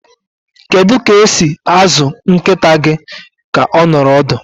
Kedu ka esi azụ nkịta gị ka ọ nọrọ ọdụ?